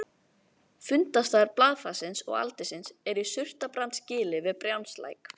Fundarstaður blaðfarsins og aldinsins er í Surtarbrandsgili við Brjánslæk.